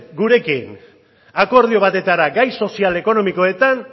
gurekin akordio batetara gai sozioekonomikoetan